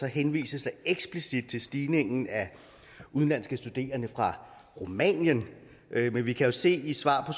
henvises eksplicit til stigningen af udenlandske studerende fra rumænien men vi kan jo se af svaret